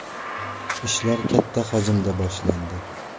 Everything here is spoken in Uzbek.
Ishlar katta hajmda boshlandi.